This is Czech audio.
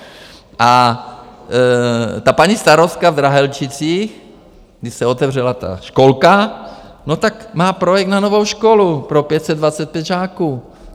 A ta paní starostka v Drahelčicích, když se otevřela ta školka, no tak má projekt na novou školu pro 525 žáků.